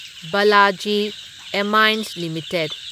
Balaji Amines limited